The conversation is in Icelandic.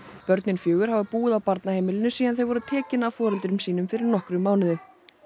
börnin fjögur hafa búið á barnaheimilinu síðan þau voru tekin af foreldrum sínum fyrir nokkrum mánuðum